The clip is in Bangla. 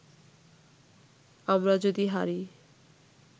আমরা যদি হারি